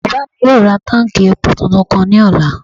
Bàbá mi yóò ra táùnkì epo tuntun kan ní ọ̀la